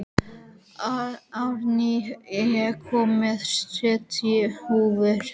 Árný, ég kom með sjötíu húfur!